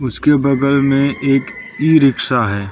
उसके बगल में एक ई रिक्शा है।